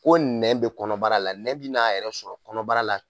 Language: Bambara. Ko nɛn bɛ kɔnɔbara la bɛ n' a yɛrɛ sɔrɔ kɔnɔbara la